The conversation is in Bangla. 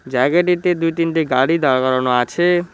জায়গাটিতে দু তিনটে গাড়ি দাঁড় করানো আছে।